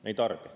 Me ei tarbi.